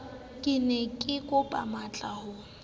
ke ne kekopa matlaa ho